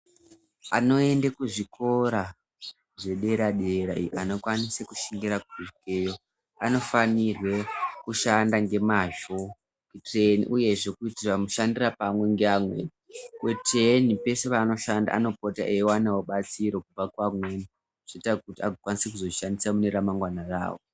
Anoenda kuzvikora zvedera dera anokwanisa kushingirira kusvika iyoyo anofanirwa kushanda nemazvo uye zve kuitira mushandira pamwe nevamweni kuitira kuti peshe panoshanda anobatsirwa nevamweni zvoita kuti akwanise kuzozvishandisa mune ramangwana rawo.